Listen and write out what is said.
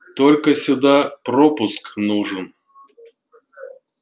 только сюда пропуск нужен